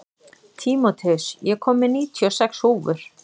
Tímóteus, ég kom með níutíu og sex húfur!